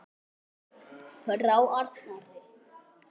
Frá Arnari!